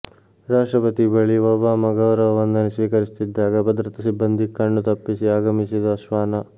ರಾಷ್ಟ್ರಪತಿ ಬಳಿ ಒಬಾಮಾ ಗೌರವ ವಂದನೆ ಸ್ವೀಕರಿಸುತ್ತಿದ್ದಾಗ ಭದ್ರತಾ ಸಿಬ್ಬಂದಿ ಕಣ್ಣು ತಪ್ಪಿಸಿ ಆಗಮಿಸಿದ ಶ್ವಾನ